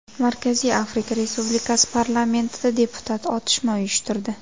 Markaziy Afrika Respublikasi parlamentida deputat otishma uyushtirdi.